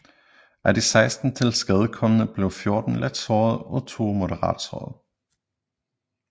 Af de 16 tilskadekomne blev 14 let såret og to moderat såret